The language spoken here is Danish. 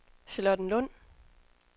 Charlottenlund